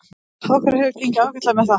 Okkur hefur gengið ágætlega með það.